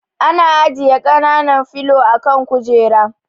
Ana ajiye kanan filo a kan kujera